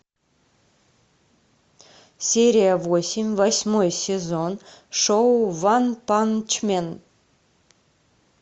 серия восемь восьмой сезон шоу ванпанчмен